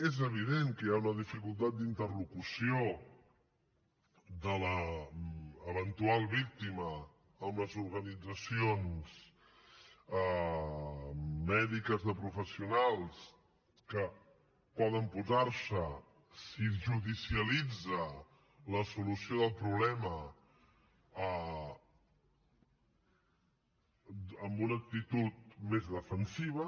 és evident que hi ha una dificultat d’interlocució de l’eventual víctima amb les organitzacions mèdiques de professionals que poden posar se si es judicialitza la solució del problema amb una actitud més defensiva